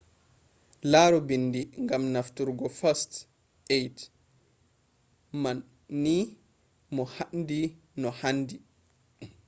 laru bindi gam nafturgo first aid man ni mo handi no handi